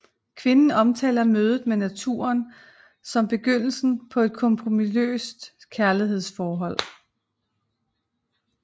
Kvinden omtaler mødet med naturen som begyndelsen på et kompromisløst kærlighedsforhold